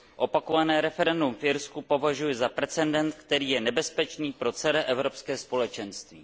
Opakované referendum v Irsku považuji za precedent, který je nebezpečný pro celé Evropské společenství.